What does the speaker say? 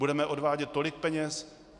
Budeme odvádět tolik peněz?